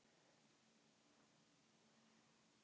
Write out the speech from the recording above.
Þá breytist sviðið.